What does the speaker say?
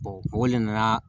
o le nana